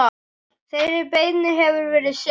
Þeirri beiðni hefur verið synjað.